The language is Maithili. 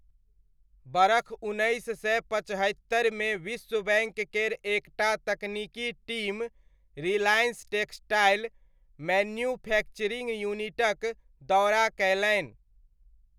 बरख उन्नैस सय पचहत्तरिमे विश्व बैङ्क केर एक टा तकनीकी टीम 'रिलायंस टेक्सटाइल' मैन्युफैक्चरिङ्ग यूनिटक दौरा कयलनि।